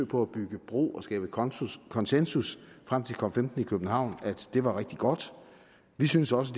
på at bygge bro og skabe konsensus konsensus frem til cop15 i københavn var rigtig godt vi synes også